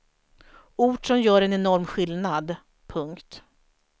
Ord som gör en enorm skillnad. punkt